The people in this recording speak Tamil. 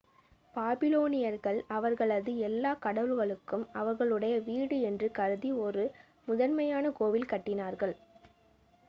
பாபிலோனியர்கள் அவர்களது எல்லாக் கடவுள்களுக்கும் அவர்களுடைய வீடு என்று கருதி ஒரு முதன்மையான கோயில் கட்டினார்கள்